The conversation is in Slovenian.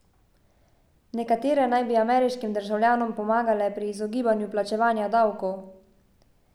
Nekatere naj bi ameriškim državljanom pomagale pri izogibanju plačevanja davkov.